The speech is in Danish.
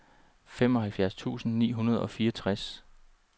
femoghalvfjerds tusind ni hundrede og fireogtres